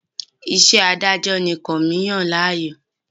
Iṣẹ́ adájọ́ ni Kànmí yàn láàyò